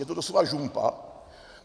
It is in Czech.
Je to doslova žumpa.